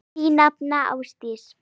Þín nafna, Ásdís.